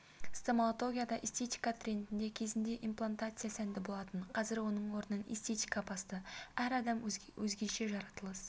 стоматологияда эстетика трендте кезінде имплантация сәнде болатын қазір оның орнын эстетика басты әр адам өзгеше жаратылыс